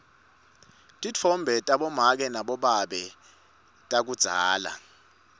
titfombe tabomake nabobabe takudzala